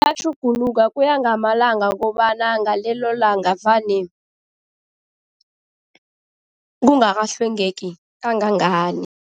Yatjhuguluka kuya ngamalanga kobana ngalelo langa vane kungakahlwengeki kangangani.